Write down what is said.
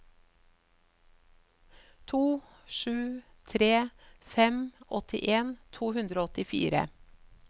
to sju tre fem åttien to hundre og åttifire